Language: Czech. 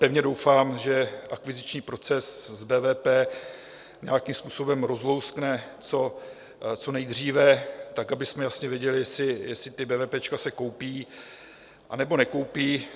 Pevně doufám, že akviziční proces s BVP nějakým způsobem rozlouskne co nejdříve tak, abychom jasně věděli, jestli ta bévépéčka se koupí, anebo nekoupí.